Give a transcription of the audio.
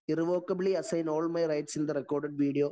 Irrevocably assign all my rights in the record video.